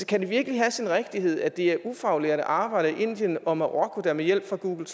kan det virkelig have sin rigtighed at det er ufaglærte arbejdere i indien og marokko der med hjælp fra google